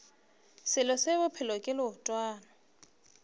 selo se bophelo ke leotwana